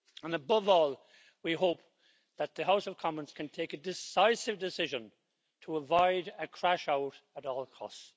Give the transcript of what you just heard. Above all, we hope that the House of Commons can take a decisive decision to avoid a crash-out at all costs.